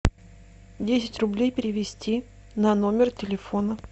десять рублей перевести на номер телефона